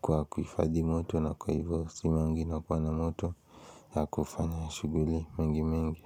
kwa kuhifadhi moto na kwa hivyo simu yangu inakuwa na moto ya kufanya shughuli mingi mingi.